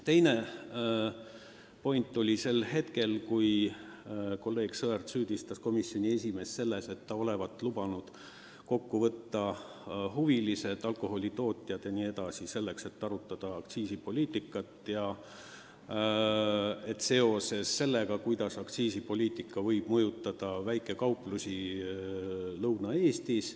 Teine huvitav moment oli, kui kolleeg Sõerd süüdistas komisjoni esimeest selles, et ta olevat lubanud kokku võtta huvilised – alkoholitootjad jne –, et arutada aktsiisipoliitikat sellest vaatevinklist, kuidas see võib mõjutada väikekauplusi Lõuna-Eestis.